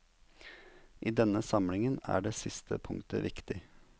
I denne samlingen er det siste punktet viktig.